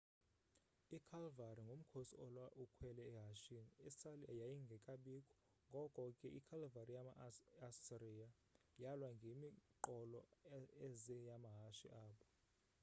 ikhalvari ngumkhosi olwa ukhwele ehashini, isali yayingekabikho ngoko ke ikhalvari yama assria yalwa ngemiqolo eze yamahashe abo